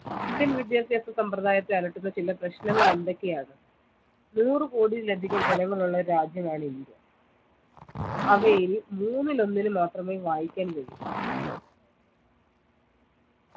indian വിദ്യാഭ്യാസ സമ്പ്രദായത്തെ അലട്ടുന്ന ചില പ്രശ്നങ്ങളെന്തൊക്കെയാണ് നൂറ് കോടിയിലതികം ജനങ്ങളുള്ള രാജ്യമാണ് ഇന്ത്യ അവയിൽ മൂന്നിൽ ഒന്നിന് മാത്രമേ വായിക്കാൻ കഴിയു